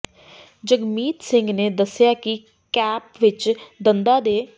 ਜਗਮੀਤ ਸਿੰਘ ਨੇ ਦੱਸਿਆ ਕਿ ਕੈਪ ਵਿਚ ਦੰਦਾਂ ਦੇ